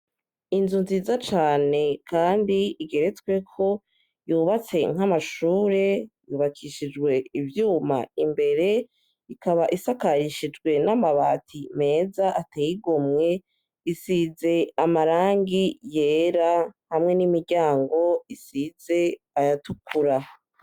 Inzu nziza cane kandi igeretsweko yubatse nk'amashuri yubakishijwe ivyuma imbere ikaba isakarishijwe n'amabati meza ateye igomwe isize amarangi yera hamwe n'imiryango isize ayatukura.